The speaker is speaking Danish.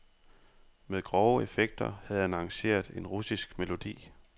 Med grove effekter havde han arrangeret en russisk melodi.